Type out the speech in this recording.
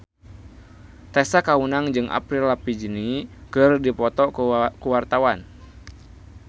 Tessa Kaunang jeung Avril Lavigne keur dipoto ku wartawan